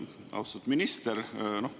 Austatud minister!